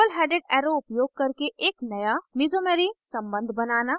double headed arrow उपयोग करके एक नया mesomery mesomery सम्बन्ध बनाना